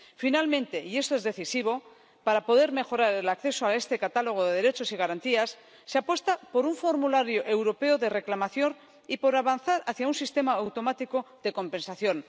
Finalmente —y esto es decisivo—, para poder mejorar el acceso a este catálogo de derechos y garantías, se apuesta por un formulario europeo de reclamación y por avanzar hacia un sistema automático de compensación.